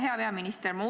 Hea peaminister!